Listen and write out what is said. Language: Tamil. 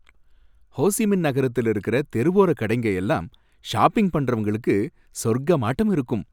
ஹோ சி மின் நகரத்துல இருக்கிற தெருவோர கடைங்க எல்லாம் ஷாப்பிங் பண்றவங்களுக்கு சொர்க்கமாட்டம் இருக்கும்.